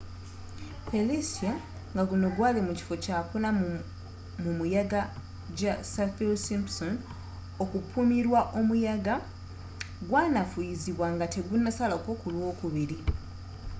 felicia ngaguno gwali mu kifo 4 mumuyaga ja saffir-simpson okupimirwa omuyaga gwanafuyizibwa ngategunasalako ku lwokubiri